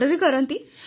ଆକଟ ବି କରନ୍ତି